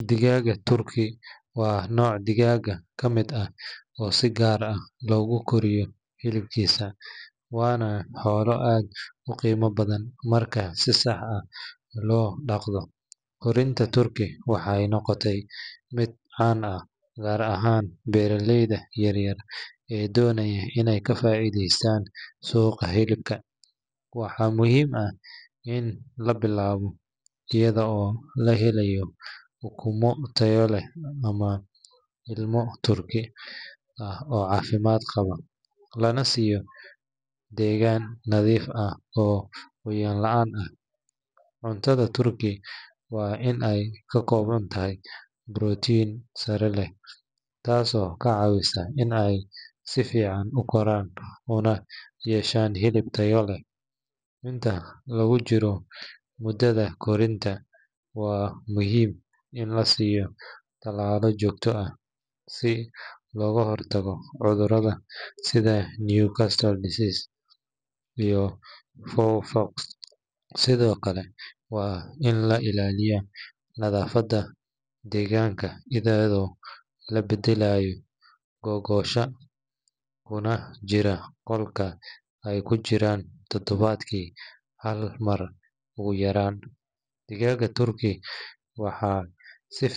Digaagga turkey waa nooc digaagga ka mid ah oo si gaar ah loogu koriyo hilibkiisa, waana xoolo aad u qiimo badan marka si sax ah loo dhaqdo. Korinta turkey waxay noqotay mid caan ah gaar ahaan beeraleyda yaryar ee doonaya inay ka faa’iidaystaan suuqa hilibka. Waxaa muhiim ah in la bilaabo iyada oo la helayo ukumo tayo leh ama ilmo turkey ah oo caafimaad qaba, lana siiyo deegaan nadiif ah oo qoyaan la’aan ah. Cuntada turkey waa in ay ka kooban tahay borotiin sare leh, taasoo ka caawisa in ay si fiican u koraan una yeeshaan hilib tayo leh. Inta lagu jiro muddada korinta, waa muhiim in la siiyo talaalo joogto ah si looga hortago cudurrada sida Newcastle disease iyo fowl pox. Sidoo kale waa in la ilaaliyo nadaafadda deegaanka, iyadoo la beddelayo gogosha kuna jira qolka ay ku jiraan todobaadkii hal mar ugu yaraan. Digaagga turkey waxay si .